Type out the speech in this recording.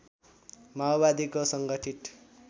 माओवादीको सङ्गठित